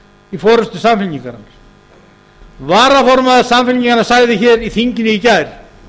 í forustu samfylkingarinnar varaformaður samfylkingarinnar sagði í þinginu í gær